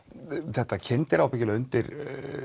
þetta kyndir ábyggilega undir